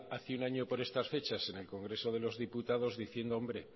hace año por estas fechas en el congreso de los diputados diciendo hombre